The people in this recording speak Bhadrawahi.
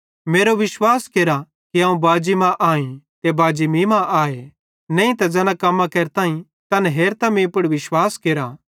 मेरो विश्वास केरा कि अवं बाजी मां आईं ते बाजी मीं मां आए नईं त ज़ैना कम्मां केरताईं तैन हेरतां मीं पुड़ विश्वास केरा